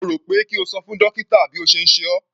Mo rò pé kí o ṣo fún dókítà bí ó ṣe ń ṣe ọ́.